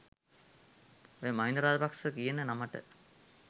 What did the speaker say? ඔය මහින්ද රාජපක්ස කියන නමට